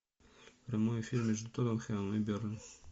прямой эфир между тоттенхэмом и бернли